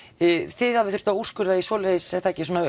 þið hafið þurft að úrskurða í svoleiðis er það ekki í svona